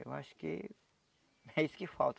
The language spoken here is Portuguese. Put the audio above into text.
Eu acho que é isso que falta.